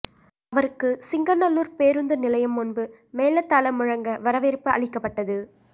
அவருக்கு சிங்காநல்லூர் பேருந்து நிலையம் முன்பு மேளதாளம் முழங்க வரவேற்பு அளிக்கப்பட்டது